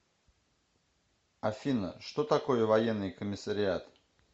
афина что такое военный комиссариат